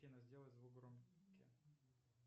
афина сделай звук громке